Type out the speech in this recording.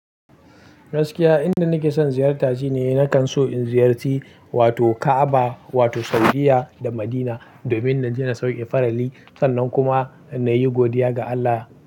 Gaskiya inda nake son ziyarta shine nakan so in ziyarci wato Ka'aba wato Saudiya da Madina domin na je na sauke farali sannan kuma na yi godiya ga Allah.